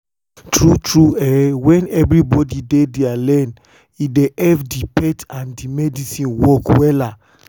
tru tru eh wen eh wen everybodi dey dia lane e dey epp di faith and medicine work wella